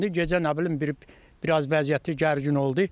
Gecə nə bilim bir biraz vəziyyəti gərgin oldu.